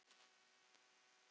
Íslands merki.